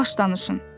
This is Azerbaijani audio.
Yavaş danışın.